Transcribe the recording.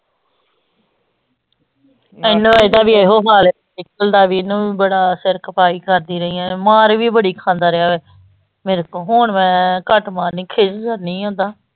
ਇਹਦਾ ਵੀ ਇਹੋ ਹਾਲ ਡਿੰਪਲ ਦਾ ਵੀ ਇਹਨੂੰ ਵੀ ਬੜਾ ਸਿਰ ਖਪਾਈ ਕਰਦੀ ਰਹੀ ਹਾਂ, ਮਾਰ ਵੀ ਬੜੀ ਖਾਂਦਾ ਰਿਹਾ ਮੇਰੇ ਤੋਂ, ਹੁਣ ਮੈਂ ਘੱਟ ਮਾਰਨੀ ਖਿੱਝ ਜਾਂਦੀ ਓਦਾਂ।